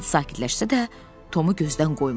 Sid sakitləşsə də Tomu gözdən qoymadı.